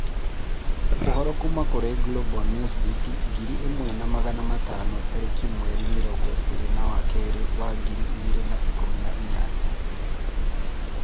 Ũhoro kuma kũrĩ Global Newsbeat ngĩrĩ imwe na magana matano tariki mweri mirongo ĩĩrĩ wa kerĩ wa ngiri ĩgiri na ĩkumi na inyanya